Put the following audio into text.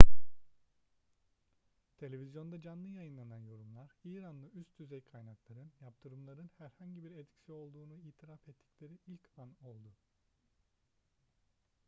televizyonda canlı yayınlanan yorumlar i̇ranlı üst düzey kaynakların yaptırımların herhangi bir etkisi olduğunu itiraf ettikleri ilk an oldu